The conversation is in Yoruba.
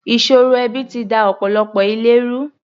Ìṣòro ẹbi ti da ọ̀pọ̀lọpọ̀ ilé ru.